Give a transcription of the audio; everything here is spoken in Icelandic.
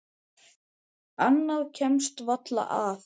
Annað kemst varla að.